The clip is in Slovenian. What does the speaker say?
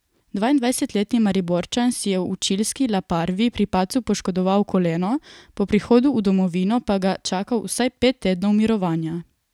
Dvaindvajsetletni Mariborčan si je v čilski La Parvi pri padcu poškodoval koleno, po prihodu v domovino pa ga čaka vsaj pet tednov mirovanja.